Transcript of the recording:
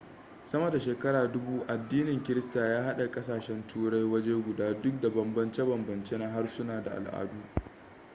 sama da shekara dubu addinin kirista ya haɗe kasashen turai waje guda duk da banbance banbance na harsuna da ala'adu